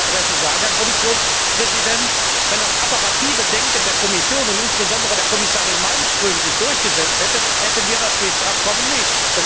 Ich will an Ihre Adresse sagen, Herr Kommissionspräsident Wenn das apparative Denken der Kommission und insbesondere der Kommissarin Malmström sich durchgesetzt hätte, hätten wir das SWIFT Abkommen nicht.